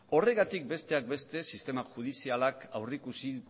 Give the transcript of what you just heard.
horregatik besteak beste sistema judizialak aurrikusi